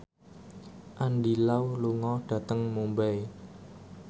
Andy Lau lunga dhateng Mumbai